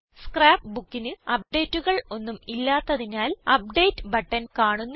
scrap Bookന് അപ്ഡേറ്റുകൾ ഒന്നും ഇല്ലാത്തതിനാൽ അപ്ഡേറ്റ് ബട്ടൺ കാണുന്നില്ല